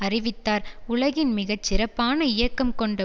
அறிவித்தார் உலகின் மிக சிறப்பான இயக்கம் கொண்ட